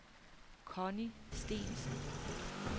Conni Steensen